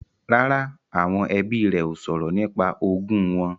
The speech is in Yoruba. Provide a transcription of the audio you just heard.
Rárá, àwọn ẹbí rẹ ó sọ̀rọ̀ nípa ogún wọn